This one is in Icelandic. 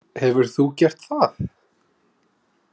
Hefur þú gert það?